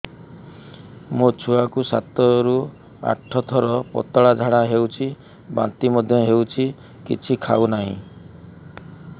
ମୋ ଛୁଆ କୁ ସାତ ରୁ ଆଠ ଥର ପତଳା ଝାଡା ହେଉଛି ବାନ୍ତି ମଧ୍ୟ୍ୟ ହେଉଛି କିଛି ଖାଉ ନାହିଁ